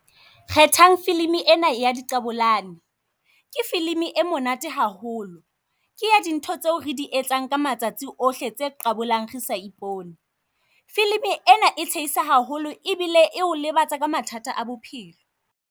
Kgethang film-i ena ya di qabolane, ke film-i e monate haholo. Ke ya dintho tseo re di etsang ka matsatsi ohle tse qabolang re sa ipone. Film-i ena e tshehisa haholo ebile e o lebatsa ka mathata a bophelo.